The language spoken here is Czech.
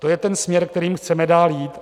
To je ten směr, kterým chceme dál jít.